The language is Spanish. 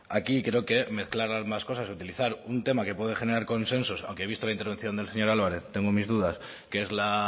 aquí creo que mezclar ambas cosas utilizar un tema que puede generar consensos aunque vista la intervención del señor álvarez tengo mis dudas que es la